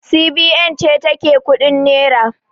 CBN ce ta ke kuɗin nera